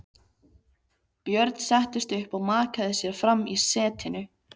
Björn settist upp og mjakaði sér fram í setinu.